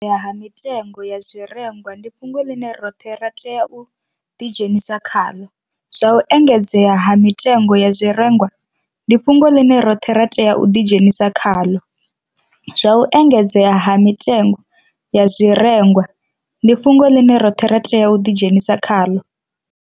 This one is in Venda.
Ha mitengo ya zwirengwa ndi fhungo ḽine roṱhe ra tea u ḓidzhenisa khaḽo. Zwa u engedzea ha mitengo ya zwirengwa ndi fhungo ḽine roṱhe ra tea u ḓidzhenisa khaḽo. Zwa u engedzea ha mitengo ya zwirengwa ndi fhungo ḽine roṱhe ra tea u ḓidzhenisa khaḽo.